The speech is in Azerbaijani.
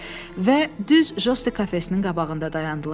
Və düz Josti kafesinin qabağında dayandılar.